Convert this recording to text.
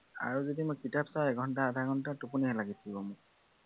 আৰু যদি মই কিতাপ চাওঁ, এঘন্টা আধাঘন্টা, টোপনি লাগি যায় মোৰ।